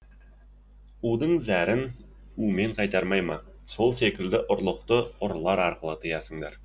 удың зәрін умен қайтармай ма сол секілді ұрлықты ұрылар арқылы тыясыңдар